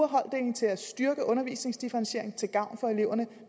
holddeling til at styrke undervisningsdifferentieringen til gavn for eleverne